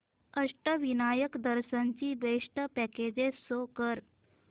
अष्टविनायक दर्शन ची best packages show कर